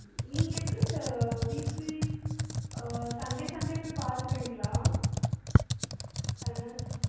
நீங்க எப்டி sir sunday sunday போயி பாத்துருவீங்களா? son அ